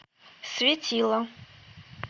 светило